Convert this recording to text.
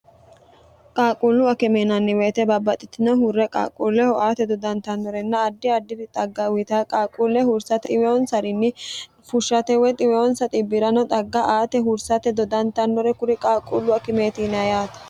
qaaqquullu akimeyinanni weyite babbaxxitino hurre qaaqquulleho aate dodantannorenna addi addiri xagga uyita qaaquulle hursate dhiwonsarinni fushshate woy xiweyonsa xibbi'rano xagga aate hursate dodantannore kuri qaaqquullu akimeetine yaate